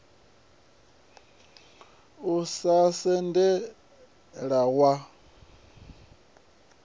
ya u renga mutevhe wa